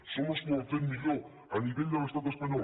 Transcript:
som los que ho hem fet millor a nivell de l’estat espanyol